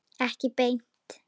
Ekki beint